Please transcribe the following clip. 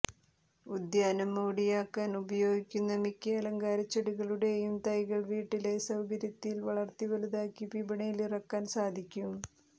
ഉദ്യാനം മോടിയാക്കാൻ ഉപയോഗിക്കുന്ന മിക്ക അലങ്കാരച്ചെടികളുടെയും തൈകൾ വീട്ടിലെ സൌകര്യത്തിൽ വളർത്തി വലുതാക്കി വിപണിയിലിറക്കാൻ സാധിക്കും